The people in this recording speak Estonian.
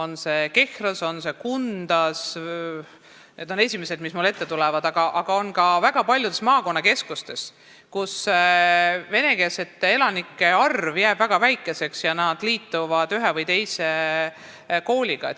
Näiteks Kehra ja Kunda on esimesed, mis mulle ette tulevad, aga neid on ka väga paljudes maakonnakeskustes, kus vene elanike arv jääb väga väikeseks ja nad liituvad ühe või teise kooliga.